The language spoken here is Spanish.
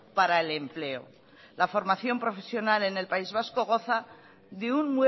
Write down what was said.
para el empleo la formación profesional en el país vasco goza de un